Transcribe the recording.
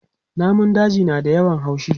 Namun daji na da yawan haushi.